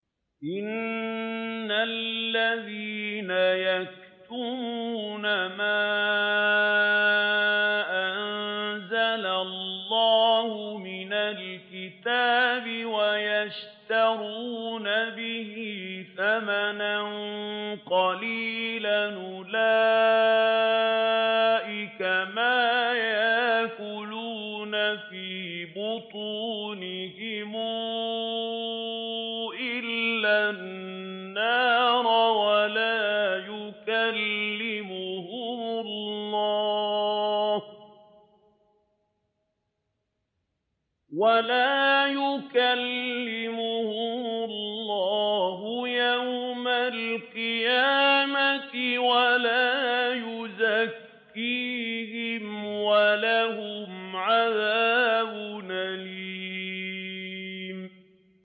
إِنَّ الَّذِينَ يَكْتُمُونَ مَا أَنزَلَ اللَّهُ مِنَ الْكِتَابِ وَيَشْتَرُونَ بِهِ ثَمَنًا قَلِيلًا ۙ أُولَٰئِكَ مَا يَأْكُلُونَ فِي بُطُونِهِمْ إِلَّا النَّارَ وَلَا يُكَلِّمُهُمُ اللَّهُ يَوْمَ الْقِيَامَةِ وَلَا يُزَكِّيهِمْ وَلَهُمْ عَذَابٌ أَلِيمٌ